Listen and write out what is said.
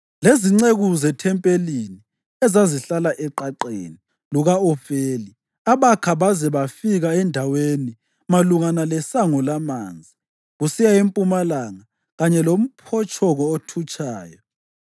lezinceku zethempelini ezazihlala eqaqeni luka-Ofeli abakha baze bafika endaweni malungana leSango laManzi kusiya empumalanga kanye lomphotshongo othutshayo.